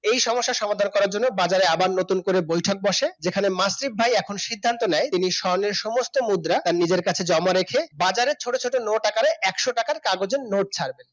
এই সমস্যা সমাধান করার জন্য বাজারে আবার নতুন করে বৈঠক বসে যেখানে মাসিফ ভাই এখন সিদ্ধান্ত নেয় তিনি স্বর্ণের সমস্ত মুদ্রা তার নিজের কাছে জমা রেখে বাজারে ছোট ছোট নোট আকারে একশ টাকার কাগজের নোট ছাড়বেন